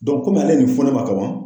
komi ale ye nin fɔ ne ma kaban.